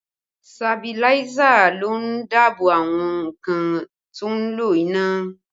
Sabiláísà ló ń dáàbò àwọn nǹkan tó ń lo iná